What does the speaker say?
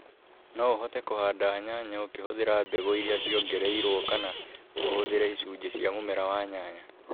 No ũhote kũhanda nyanya ukihuthira mbegũ iria ciongereirũo kana ũhũthĩre icunjĩ cia mũmera wa nyanya.